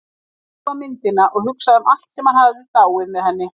Hann horfði á myndina og hugsaði um allt sem hafði dáið með henni.